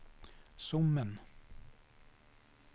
Sommen